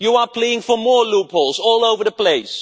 You are playing for more loopholes all over the place.